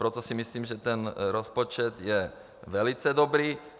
Proto si myslím, že ten rozpočet je velice dobrý.